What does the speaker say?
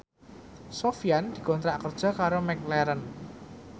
Sofyan dikontrak kerja karo McLaren